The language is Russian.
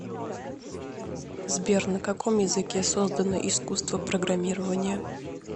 сбер на каком языке создано искусство программирования